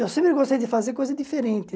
Eu sempre gostei de fazer coisa diferente.